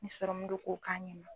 Ni sɔrɔmun do k'o k'a ɲɛma.